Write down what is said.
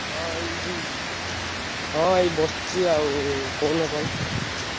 ହଁ ଏଇଠି ହଁ ଏଇ ବସଚି ଆଉ, କହୁନ କଣ?